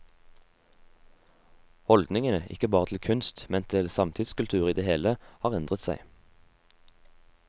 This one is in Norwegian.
Holdningene, ikke bare til kunst, men til samtidskultur i det hele, har endret seg.